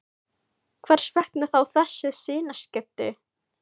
Hvers vegna þá þessi sinnaskipti?